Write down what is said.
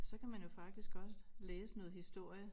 Så kan man jo faktisk godt læse noget historie